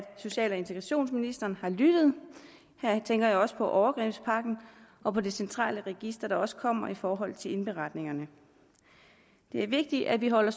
social og integrationsministeren har lyttet her tænker jeg også på overgrebspakken og på det centrale register der også kommer i forhold til indberetningerne det er vigtigt at vi holder